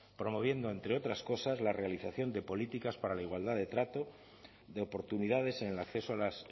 promoviendo entre otras cosas la realización de políticas para la igualdad de trato de oportunidades en el acceso a las